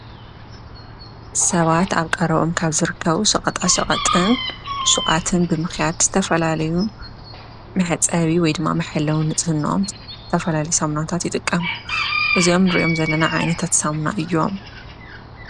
ሰባት ኣብ ቀረበኦም ካብ ዘርከቡ ሸቐጣ ሸቐጥን ሹቓትን ብምኽያድ ዝተፈላለዩ ማሕጸቢ ወይ ድማ መሕለዊ ንጽህነኦም ዝተፈላዩ ሳሙናታት ይጥቀሙ፡፡ እዙኦም ንሪኦም ዘለና ዓይነታት ሳሙና እዮም፡፡